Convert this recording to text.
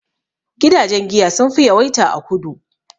Gidajen giya sun fi yawaita a kudu